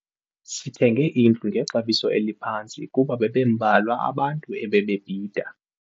Sithenge indlu ngexabiso eliphantsi kuba bebembalwa abantu ebebebhida.